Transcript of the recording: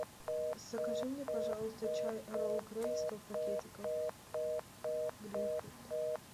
закажи мне пожалуйста чай эрл грей сто пакетиков гринфилд